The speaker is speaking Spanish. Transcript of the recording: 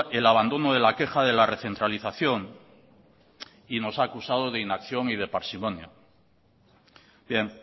el abandono de la queja de la recentralización y nos ha acusado de inacción y de parsimonia bien